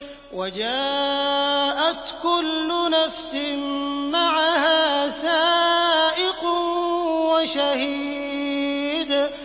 وَجَاءَتْ كُلُّ نَفْسٍ مَّعَهَا سَائِقٌ وَشَهِيدٌ